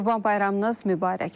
Qurban bayramınız mübarək.